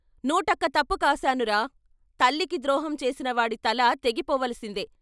నూటొక్క తప్పు కాశానురా తల్లికి ద్రోహం చేసినవాడి తల తెగి పోవలసిందే.